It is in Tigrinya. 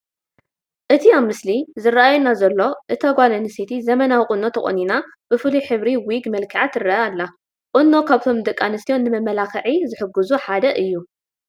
እቲ ኣብቲ ምስሊ ዝራኣየና ዘሎ እታ ጓል ኣነስተይቲ ዘበናዊ ቁኖ ተቆኒና ብፍሉይ ሕብሪ ዊግ መልኪዓ ትረአ ኣላ፡፡ ቁኖ ካብቶም ንደቂኣንስትዮ ንመመላኽዒ ዝሕግዙ ሓደ እዩ፡፡